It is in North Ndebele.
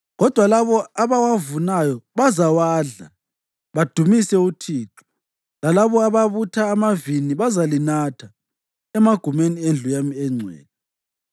Kodwa labo abawavunayo bazawadla badumise uThixo, lalabo ababutha amavini bazalinatha emagumeni endlu yami engcwele.”